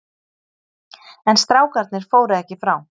En strákarnir fóru ekki frá.